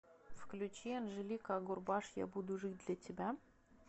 включи анжелика агурбаш я буду жить для тебя